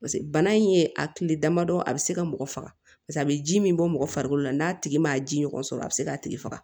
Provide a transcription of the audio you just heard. paseke bana in ye a kile damadɔ a bɛ se ka mɔgɔ faga paseke a bɛ ji min bɔ mɔgɔ farikolo la n'a tigi ma ji ɲɔgɔn sɔrɔ a bɛ se k'a tigi faga